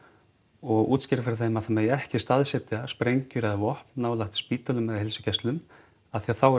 og útskýra fyrir þeim að það megi ekki staðsetja sprengjur eða vopn nálægt spítölum eða heilsugæslum af því að þá eru